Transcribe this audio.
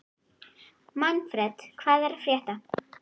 Manfred, hvað er að frétta?